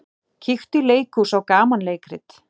Kíktu í leikhús á gamanleikrit.